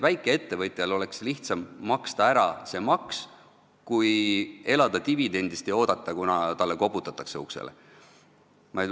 Väikeettevõtjal oleks lihtsam maksta ära see maks kui elada dividendist ja oodata, kunas talle uksele koputatakse.